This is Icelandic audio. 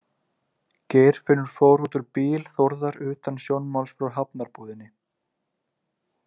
Geirfinnur fór út úr bíl Þórðar utan sjónmáls frá Hafnarbúðinni.